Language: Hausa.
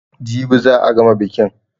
Jibi za a gama bikin.